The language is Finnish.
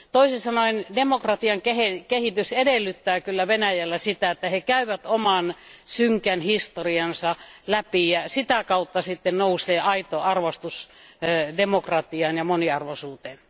Toisin sanoen demokratian kehitys edellyttää Venäjällä sitä, että he käyvät oman synkän historiansa läpi, ja sitä kautta sitten nousee aito arvostus demokratiaan ja moniarvoisuuteen.